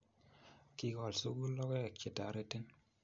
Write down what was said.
kikol sukul logoek che terotin.